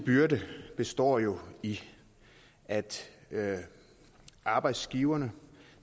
byrde består jo i at arbejdsgiveren